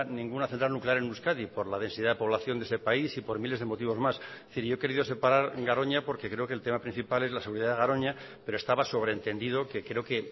ninguna central nuclear en euskadi por la densidad de población de este país y por miles de motivos más es decir yo he querido separar garoña porque creo que el tema principal es la seguridad de garoña pero estaba sobreentendido que creo que